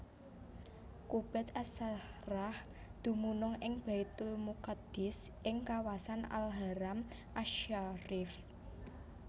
Qubbat As Sakhrah dumunung ing Baitulmuqaddis ing kawasan Al Haram asy Syarif